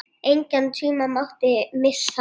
Engan tíma mátti missa.